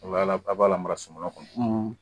O la aw b'a lamara kɔnɔ